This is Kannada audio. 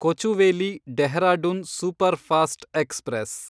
Kochuveli Dehradun superfast express